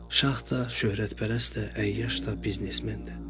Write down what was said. Şah da, şöhrətpərəst də, əyyaş da, biznesmen də.